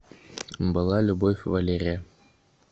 была любовь валерия